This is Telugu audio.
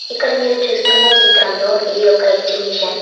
క్కడ మీరు చూస్తున్న చిత్రంలో ఇది ఒక ఎగ్జిబిషన్ .